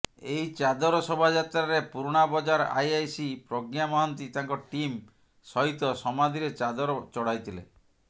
ଏହି ଚାଦର ଶୋଭାଯାତ୍ରାରେ ପୁରୁଣାବଜାର ଆଇଆଇସି ପ୍ରଜ୍ଞା ମହାନ୍ତି ତାଙ୍କ ଟିମ୍ ସହିତ ସମାଧିରେ ଚାଦର ଚଢାଇଥିଲେ